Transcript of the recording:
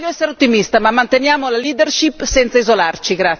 Voglio essere ottimista, ma manteniamo la leadership senza isolarci!